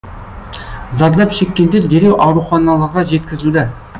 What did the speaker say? зардап шеккендер дереу ауруханаларға жеткізілді